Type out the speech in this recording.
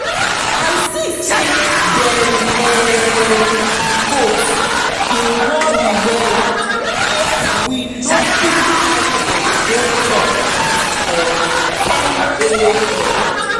i see say dem um goat dey worry wellaif we no quick carry dem go chop grass for 10am